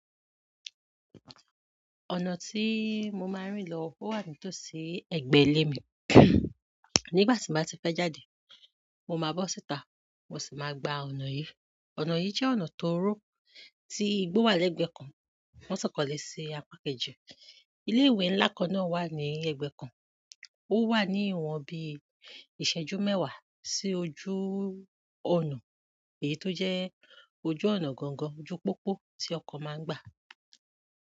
Ọ̀nà tí mo máa ń rìn lọ o wà nítòsí ẹgbẹ́ ilé mi. Nígbà tí mo bá ti fẹ́ jáde, mo máa bọ́ síta, mo sì máa gba ọ̀nà yìí. Ọ̀nà yìí jẹ́ ọ̀nà tó ro tí igbó wà lẹ́gbẹ́ kan, wọ́n sì kọ́lé sí apá kejì. Ilé ìwé ńlá kan wà ní ẹ̀gbẹ́ kan, ó wà ní ìwọ̀n bí i ìṣẹ́jú mẹ́wàá sí ojú ọ̀nà èyí tó jẹ́ ojú ọ̀nà gangan, ojú pópó tí ọkọ̀ máa ń gbà.